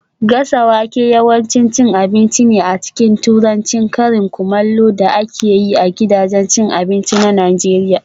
Gasa wake yawanci cin abinci ne a cikin Turancin karin kumallo da ake yi a gidajen abinci a Najeriya